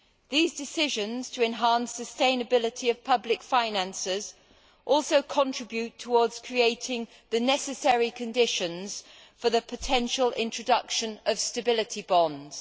These decisions to enhance the sustainability of public finances also contribute towards creating the necessary conditions for the potential introduction of stability bonds.